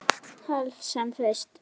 Helst sem fyrst.